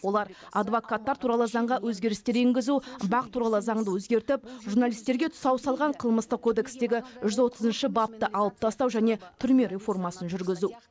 олар адвокаттар туралы заңға өзгерістер енгізу бақ туралы заңды өзгертіп журналистерге тұсау салған қылмыстық кодекстегі жүз отызыншы бапты алып тастау және түрме реформасын жүргізу